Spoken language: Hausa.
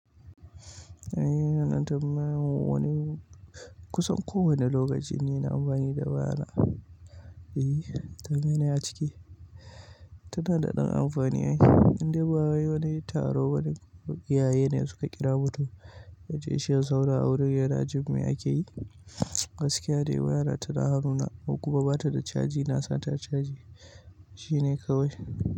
Eh, ina ɗan tambayan wani kusan kowane lokaci ni ina amfani da waya na. E, to meye ne a ciki. Tana da ɗan amfani ai. Indai ba wai wani taro bane ko iyaye ne suka kira mutum ya je shi ya zauna a wurin yana jin me ake yi. Gaskiya de waya na tana hannuna in kuma ba ta da caji, na sa ta a caji. Shi ne kawai.